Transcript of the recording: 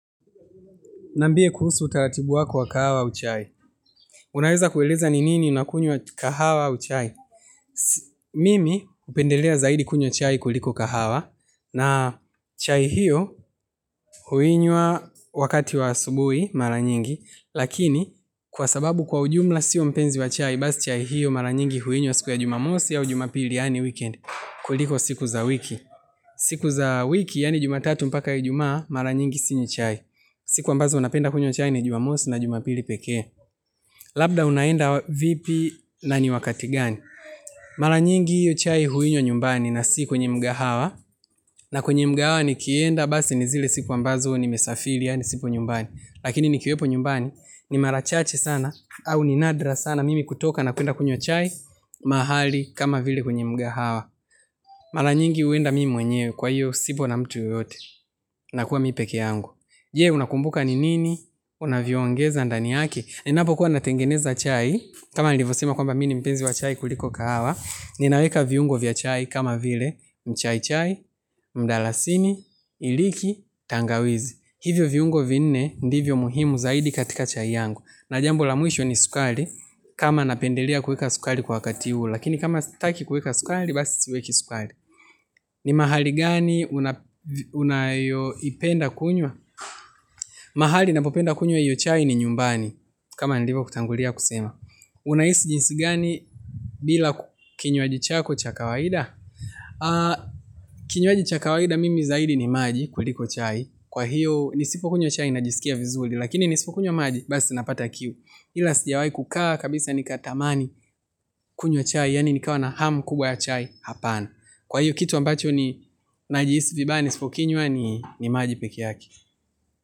Niambie kuhusu utaratibu wako wa kahawa au chai. Unaweza kueleza ni lini unakunywa kahawa au chai. Mimi hupendelea zaidi kunywa chai kuliko kahawa. Na chai hiyo huinywa wakati wa asubuhi mara nyingi. Lakini kwa sababu kwa ujumla siyo mpenzi wa chai. Basi chai hiyo mara nyingi huinywa siku ya jumamosi au jumapili yaani weekend. Kuliko siku za wiki. Siku za wiki yaani jumatatu mpaka ijumaa mara nyingi sinywi chai. Siku ambazo napenda kunywa chai ni jumamosi na jumapili pekee. Labda unaenda vipi na ni wakati gani. Mara nyingi hiyo chai huinywa nyumbani na si kwenye mkahawa. Na kwenye mkahawa nikienda basi ni zile siku ambazo nimesafiri yaani sipo nyumbani. Lakini nikiwepo nyumbani ni mara chache sana au ni nadra sana mimi kutoka na kwenda kunywa chai mahali kama vile kwenye mkahawa. Mara nyingi huenda mimi mwenyewe kwa hio sipo na mtu yeyote nakuwa mi pekee yangu. Je, unakumbuka ni nini? Unavyoongeza ndani yake. Ninapo kuwa natengeneza chai, kama nilivyosema kwamba mimi ni mpenzi wa chai kuliko kahawa, ninaweka viungo vya chai kama vile, mchaichai, mdalasini, iliki, tangawizi. Hivyo viungo vinne ndivyo muhimu zaidi katika chai yangu. Na jambo la mwisho ni sukari, kama napendelea kuweka sukari kwa wakati ule. Lakini kama sitaki kuweka sukari basi siweki sukari. Ni mahali gani unayoipenda kunywa? Mahali napopenda kunywa hiyo chai ni nyumbani. Kama nilivokutangulia kusema unahisi jinsi gani bila kinywaji chako cha kawaida Kinywaji cha kawaida mimi zaidi ni maji kuliko chai Kwa hiyo nisipokunywa chai najisikia vizuri Lakini nisipokunywa maji basi napata kiu. Ila sijawahi kukaa kabisa nikatamani kunywa chai yaani nikawa na hamu kubwa ya chai, hapana. Kwa hiyo kitu ambacho najihisi vibaya nisipokunywa ni maji pekee yake.